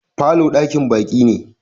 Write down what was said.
falo dakin baki ne.